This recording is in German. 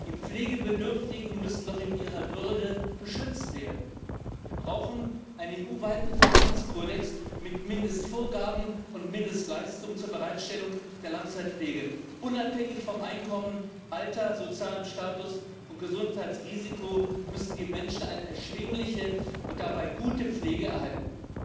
Die Pflegebedürftigen müssen doch in ihrer Würde geschützt werden. Wir brauchen einen EU weiten Verhaltenskodex mit Mindestvorgaben und Mindestleistungen zur Bereitstellung der Langzeitpflege. Unabhängig von Einkommen, Alter, sozialem Status und Gesundheitsrisiko müssen die Menschen eine erschwingliche und dabei gute Pflege erhalten.